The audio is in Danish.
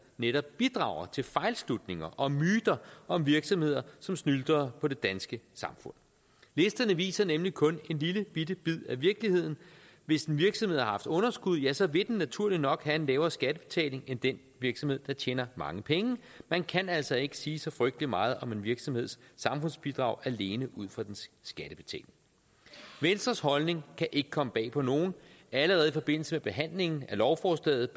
netop bidrager til fejlslutninger og myter om virksomheder som snylter på det danske samfund listerne viser nemlig kun en lillebitte bid af virkeligheden hvis en virksomhed har haft underskud ja så vil den naturligt nok have en lavere skattebetaling end den virksomhed der tjener mange penge man kan altså ikke sige så frygtelig meget om en virksomheds samfundsbidrag alene ud fra dens skattebetaling venstres holdning kan ikke komme bag på nogen allerede i forbindelse med behandlingen af lovforslaget